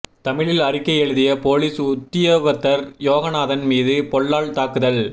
தமிழில் அறிக்கை எழுதிய பொலிஸ் உத்தியோகத்தர் யோகநாதன் மீது பொல்லால் தாக்குதல்